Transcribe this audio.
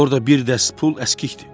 Orda bir dəst pul əskikdir.